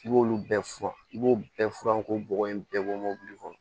I b'olu bɛɛ furan i b'o bɛɛ furan k'o bɔgɔ in bɛɛ bɔ mobili kɔnɔ